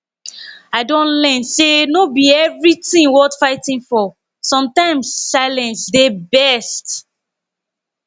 i don learn say no be everything worth fighting for sometimes silence dey best